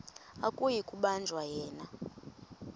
akuyi kubanjwa yena